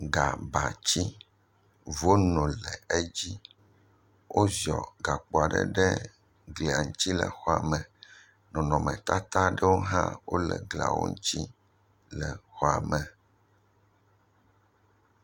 Gã batsi, Vono le edzi, wo ziɔ gakpoa ɖe glia ŋutsi le xɔame, nɔnɔmetata ɖowo hã wole gliawo ŋutsi le xɔame.